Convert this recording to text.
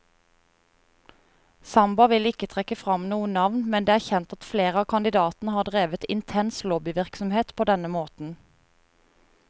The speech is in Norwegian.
Samba vil ikke trekke frem noen navn, men det er kjent at flere av kandidatene har drevet intens lobbyvirksomhet på denne måten.